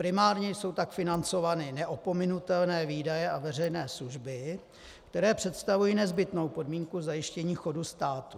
Primárně jsou tak financovány neopominutelné výdaje a veřejné služby, které představují nezbytnou podmínku zajištění chodu státu.